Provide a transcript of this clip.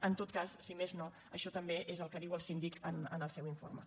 en tot cas si més no això també és el que diu el síndic en el seu informe